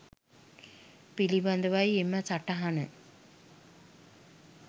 පිළිබඳවයි එම සටහන.